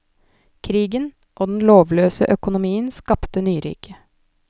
Krigen og den lovløse økonomien skapte nyrike.